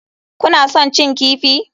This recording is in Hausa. Kuna son cin kifi?